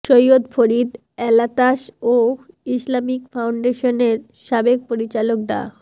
Syed Farid Alatas ও Islamic ফাউন্ডেশনের সাবেক পরিচালক ডা